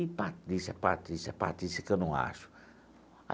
E Patrícia, Patrícia, Patrícia, que eu não acho.